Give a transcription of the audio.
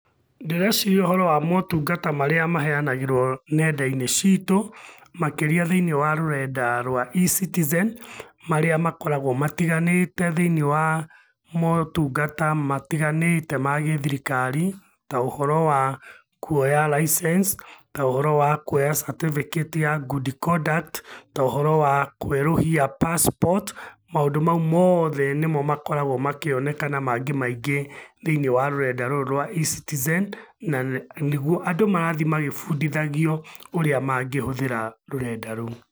Ndĩreciria ũhoro wa mũtungata marĩa maheanagĩrwo nenda-inĩ citu, makĩria thĩinie wa rũrenda rwa E-citizen, marĩa makoragwo matiganĩte thĩinie wa mũtungata matiganĩte ma gĩthirikari, ta ũhoro wa kũoya license, ta ũhoro wa kũoya certificate ya good conduct, ta ũhoro wa kwerũhia passport, maũndũ mau mothe nĩmo makoragwo makĩoneka na mangĩ maingĩ thĩinie wa rũrenda rũrũ rwa E-citizen, na nĩgwo andũ marathiĩ magĩbundithagio ũrĩa mangĩhũthĩra rũrenda rũu.